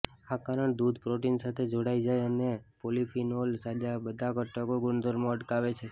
આ કારણ દૂધ પ્રોટીન સાથે જોડાઈ જાય અને પોલિફીનોલ સાજા બધા ઘટકો ગુણધર્મો અટકાવે છે